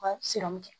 U ka siranmu kɛ